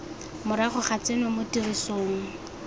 morago ga tseno mo tirisong